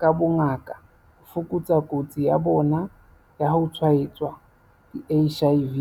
ka bongaka ho fokotsa kotsi ya bona ya ho tshwaetswa ke HIV.